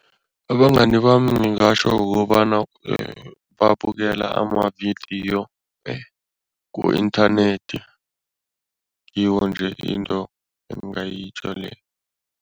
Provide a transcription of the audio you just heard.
Abangani bami ngingatjho kukobana babukela amavidiyo ku-inthanethi, ngiyo nje into engingayitjho leyo.